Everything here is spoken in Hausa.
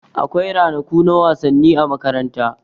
Akwai ranaku na wasanni a makaranta.